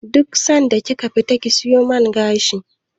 Duk lokacin da kika fita ki siyo man gashi